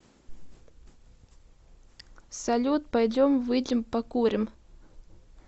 салют пойдем выйдем покурим